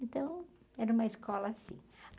Então era uma escola assim.